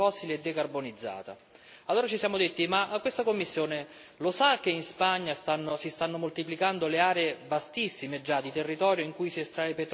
Allora ci siamo detti ma questa Commissione lo sa che in Spagna si stanno moltiplicando le aree, già vastissime, di territorio in cui si estrae petrolio con la tecnica del fracking?